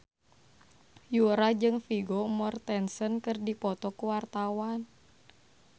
Yura jeung Vigo Mortensen keur dipoto ku wartawan